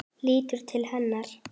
Lítur til hennar.